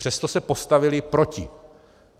Přesto se postavily proti.